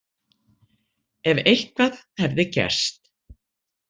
Ef eitthvað hefði gerst.